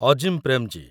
Azim Premji